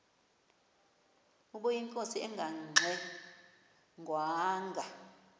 ubeyinkosi engangxe ngwanga